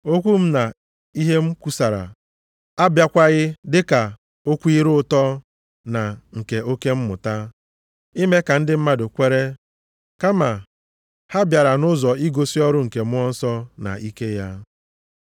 Okwu m na ihe m kwusara abịakwaghị dịka okwu ire ụtọ na nke oke mmụta, ime ka ndị mmadụ kwere, kama ha bịara nʼụzọ igosi ọrụ nke Mmụọ Nsọ na ike ya.